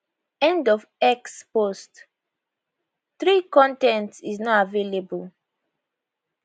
end of x post 3 con ten t is not available